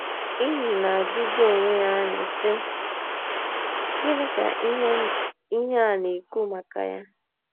nyị na - ajụzi onwe anyị, sị: ‘ Gịnị ka ihe a na - ekwu maka ya?